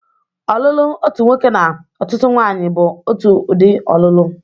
Ọlụlụ otu nwoke na ọtụtụ ụmụnwanyị bụ otu udị ọlụlụ.